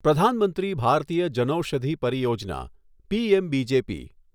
પ્રધાન મંત્રી ભારતીય જનૌષધિ પરિયોજના' પીએમબીજેપી